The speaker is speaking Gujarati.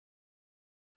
ઓહ ઠીક છે